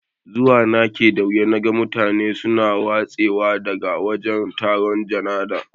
Zuwa na ke da wuya naga mutane suna watse wa daga wajan taron janaza.